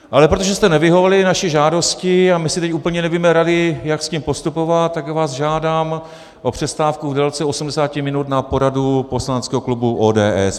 Ale protože jste nevyhověli naší žádosti a my si teď úplně nevíme rady, jak s tím postupovat, tak vás žádám o přestávku v délce 80 minut na poradu poslaneckého klubu ODS.